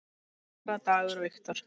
Sara, Dagur og Victor.